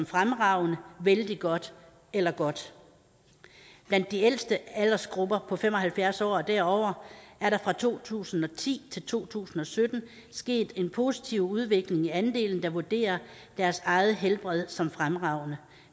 fremragende vældig godt eller godt blandt de ældste aldersgrupper på fem og halvfjerds år og derover er der fra to tusind og ti til to tusind og sytten sket en positiv udvikling i andelen der vurderer deres eget helbred som fremragende